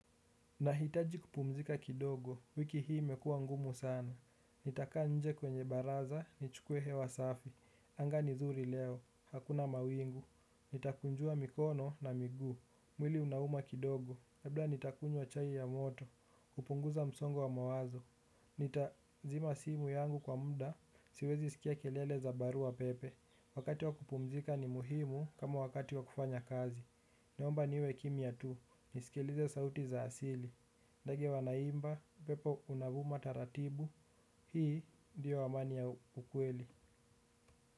Nahitaji kupumzika kidogo, wiki hii imekua ngumu sana. Nitakaa nje kwenye baraza, ni chukuwe hewa safi anga ni zuri leo, hakuna mawingu. Nitakunjua mikono na miguu. Mwili unauma kidogo, labda nitakunywa chai ya moto. Kupunguza msongo wa mawazo. Nitazima simu yangu kwa muda, siwezi sikia kelele za barua pepe. Wakati wa kupumzika ni muhimu kama wakati wa kufanya kazi. Naomba niwe kimya tu, nisikilize sauti za asili. Ndege wanaimba, pepo unavuma taratibu, hii ndiyo amani ya ukweli.